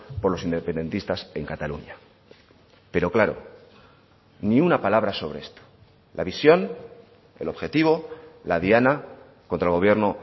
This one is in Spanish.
por los independentistas en cataluña pero claro ni una palabra sobre esto la visión el objetivo la diana contra el gobierno